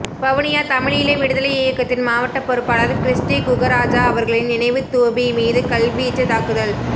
வவுனியா தமிழீழ விடுதலை இயக்கத்தின் மாவட்ட பொறுப்பாளர் கிறிஸ்டி குகராஜா அவர்களின் நினைவுத்தூபி மீது கல்வீச்சு தாக்குதல்